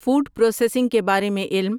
food processing کے بارے میں علم